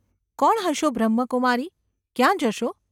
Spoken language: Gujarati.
‘કોણ હશો બ્રહ્મકુમારી? ક્યાં જશો?